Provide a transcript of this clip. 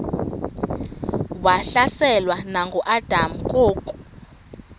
wahlaselwa nanguadam kok